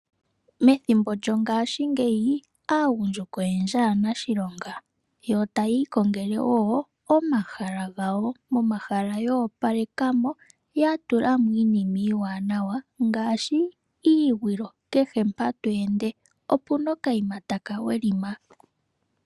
Methimbo lyongaashingeyi aagundjuka oyendji aanashilonga yo taya ikongele wo omahala gawo. Momahala ya opalekamo, ya tula mo iinima iiwanawa ngaashi iikuusinga kehe mpa tweende opuna okaima taka welima.